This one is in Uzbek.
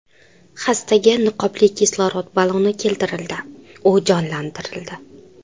Xastaga niqobli kislorod baloni keltirildi, u jonlantirildi.